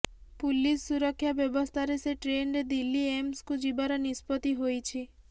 police ସୁରକ୍ଷା ବ୍ୟବସ୍ଥାରେ ସେ ଟ୍ରେନରେ ଦିଲ୍ଲୀ ଏମ୍ସକୁ ଯିବାର ନିଷ୍ପତ୍ତି ହୋଇଛି